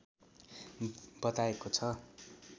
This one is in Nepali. बताएको छ